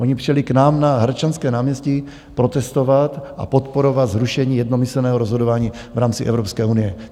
Oni přijeli k nám na Hradčanské náměstí protestovat a podporovat zrušení jednomyslného rozhodování v rámci Evropské unie.